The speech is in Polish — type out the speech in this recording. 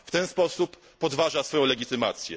W ten sposób podważa swoją legitymację.